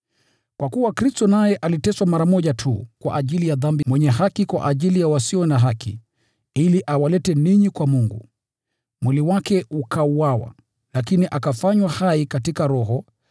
Kwa kuwa Kristo naye aliteswa mara moja tu kwa ajili ya dhambi, mwenye haki kwa ajili ya wasio haki, ili awalete ninyi kwa Mungu. Mwili wake ukauawa, lakini akafanywa hai katika Roho.